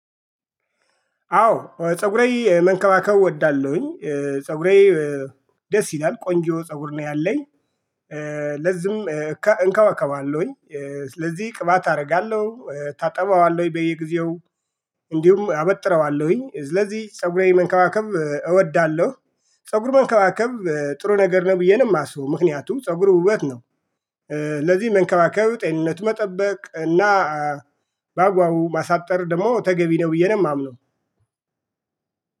አዎ ፀጉሬ መንከባከብ እወዳለሁኝ። ፀጉሬ ደስ ይላል ቆንጆ ፀጉር ነው ያለኝ። ለዚም እንከባከባለሁኝ። ስለዚህ ቅባት አደርጋለሁ እታጠበዋለሁ በየጊዜው። እንዲሁም አበጥረዋለሁኝ ስለዚህ ፀጉሬ መንከባከብ እወዳለሁ። ፀጉር መንከባከብ ጥሩ ነገር ነው ብዬ ነው የማስበው ምክንያቱም ፀጉር ውበት ነው። ለዚህ መንከባከብ ጤንነት መጠበቅ እና በአግባቡ ማሳጠር ደግሞ ተገቢ ነው ብዬ ነው የማምነው